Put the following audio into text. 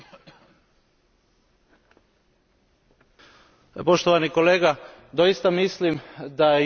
Poštovani kolega, doista mislim da je moguće doći do jednog kompromisa, na tome smo radili.